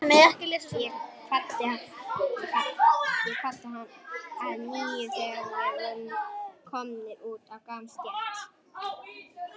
Ég kvaddi hann að nýju, þegar við vorum komnir út á gangstétt.